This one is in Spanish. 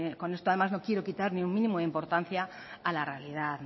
con esto además no quiero quitar ni un mínimo de importancia a la realidad